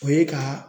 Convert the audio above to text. O ye ka